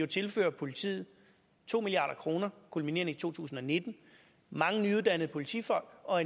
tilføre politiet to milliard kroner kulminerende i to tusind og nitten mange nyuddannede politifolk og